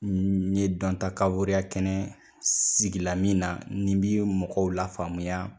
N ye dɔntakaboreya kɛnɛ sigila min na ni n bɛ mɔgɔw la faamuya.